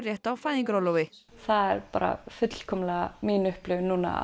rétt á fæðingarorlofi það er bara fullkomlega mín upplifun núna